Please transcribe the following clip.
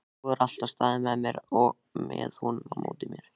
Þú hefur alltaf staðið með honum á móti mér.